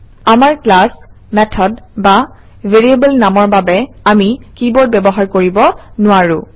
আমাৰ class method বা variable নামৰ বাবে আমি কিৱৰ্ড ব্যৱহাৰ কৰিব নোৱাৰোঁ